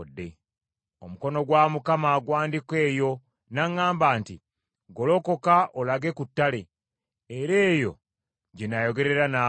Omukono gwa Mukama gw’andiko eyo, n’aŋŋamba nti, “Golokoka olage ku ttale, era eyo gye nnaayogerera naawe.”